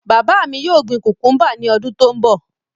My father will plant cucumbers next year